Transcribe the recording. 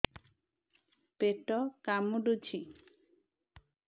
ପେଟ କାମୁଡୁଛି